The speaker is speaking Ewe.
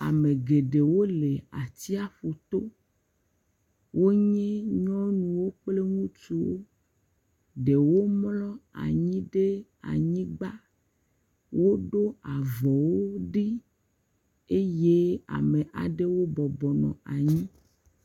Ame geɖewo le atsiaƒu to, wonye nyɔnuwo kple ŋutsuwo, ɖewo mlɔ anyi ɖe anyigba, woɖo avɔwo ɖi eye ame aɖewo bɔbɔ nɔ anyi.